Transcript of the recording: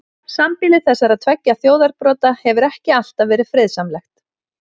Sambýli þessara tveggja þjóðarbrota hefur ekki alltaf verið friðsamlegt.